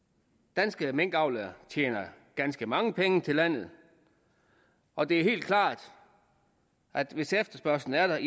danske minkavlere tjener ganske mange penge til landet og det er helt klart at hvis efterspørgslen er